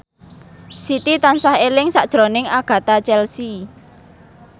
Siti tansah eling sakjroning Agatha Chelsea